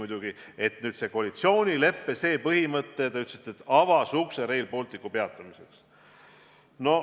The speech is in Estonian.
Te ütlesite, et see koalitsioonileppe põhimõte avas ukse Rail Balticu ehituse peatamiseks.